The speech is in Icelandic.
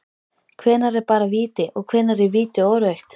Hvenær er bara víti, og hvenær er víti og rautt??